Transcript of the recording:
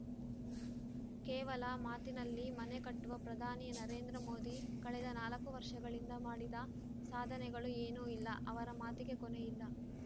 ಕೇವಲ ಮಾತಿನಲ್ಲಿ ಮನೆಕಟ್ಟುವ ಪ್ರಧಾನಿ ನರೇಂದ್ರ ಮೋದಿ ಕಳೆದ ನಾಲ್ಕು ವರ್ಷಗಳಿಂದ ಮಾಡಿದ ಸಾಧನೆಗಳು ಏನೋ ಇಲ್ಲಾ ಅವರ ಮಾತಿಗೆ ಕೊನೆಯಿಲ್ಲ